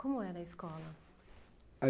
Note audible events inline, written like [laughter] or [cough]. Como era a escola? [unintelligible]